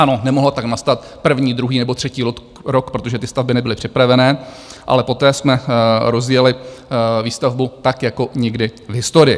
Ano, nemohla tak nastat první, druhý nebo třetí rok, protože ty stavby nebyly připravené, ale poté jsme rozjeli výstavbu tak jako nikdy v historii.